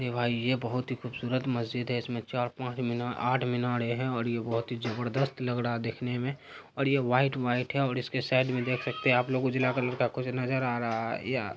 देवा ये बहोत ही खुबसुरत मस्जिद है इसमे चार पाँच मीनार आठ मिनारे हैं और ये बहोत ही जबरदस्त लग रहा है देखने में और व्हाइट-व्हाइट है और इसके साइड में देख सकते हैं आप लोग उजला कलर का कुछ नजर आ रहा है।